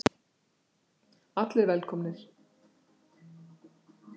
ALLIR VELKOMNIR!